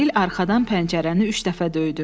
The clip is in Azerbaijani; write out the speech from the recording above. Emil arxadan pəncərəni üç dəfə döydü.